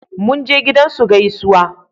Mun je gidan su gaisuwa